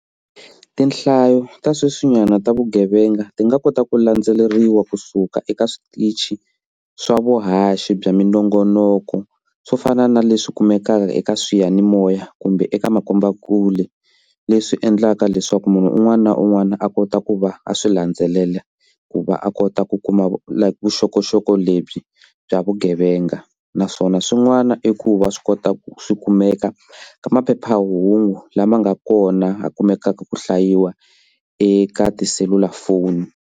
Tinhlayo ta sweswinyana ta vugevenga ti nga kota ku landzeleriwa kusuka eka switichi swa vuhaxi bya minongonoko swo fana na leswi kumekaka eka swiyanimoya kumbe eka makombakule. Leswi endlaka leswaku munhu un'wana na un'wana a kota ku va a swi landzelela ku va a kota ku kuma like vuxokoxoko lebyi bya vugevenga naswona swin'wana i ku va swi kota ku swi kumeka ka maphephahungu lama nga kona a kumekaka ku hlayiwa eka tiselulafoni.